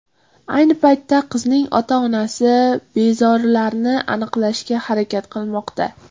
Ayni paytda qizning ota-onasi bezorilarni aniqlashga harakat qilmoqda.